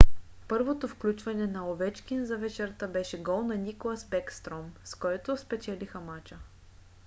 първото включване на овечкин за вечерта беше за гол на никлас бекстром с който спечелиха мача;